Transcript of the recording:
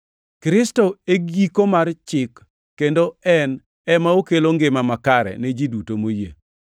Kristo e giko mar Chik kendo en ema okelo ngima makare ni ji duto moyie.